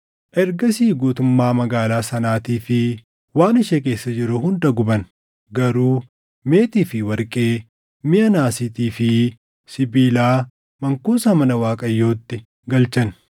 Ergasii guutummaa magaalaa sanaatii fi waan ishee keessa jiru hunda guban; garuu meetii fi warqee, miʼa naasiitii fi sibiilaa mankuusa mana Waaqayyootti galchan.